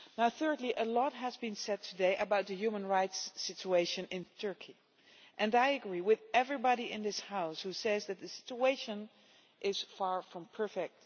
Thirdly, a lot has been said today about the human rights situation in Turkey, and I agree with everybody in this House who says that the situation is far from perfect.